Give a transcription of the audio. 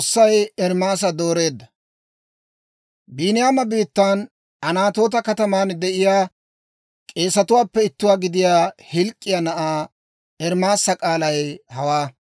Biiniyaama biittan Anatoota kataman de'iyaa k'eesetuwaappe ittuwaa gidiyaa Hilk'k'iyaa na'aa Ermaasa k'aalay hawaa.